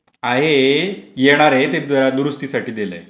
आहे येणार आहे ते दुरुस्तीसाठी दिलंय